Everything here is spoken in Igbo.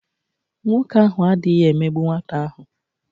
Nwoke ahụ adịghị emegbu nwata ahụ.